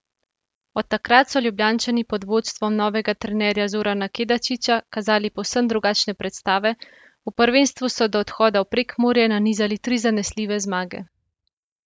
Od takrat so Ljubljančani pod vodstvom novega trenerja Zorana Kedačiča kazali povsem drugačne predstave, v prvenstvu so do odhoda v Prekmurje nanizali tri zanesljive zmage.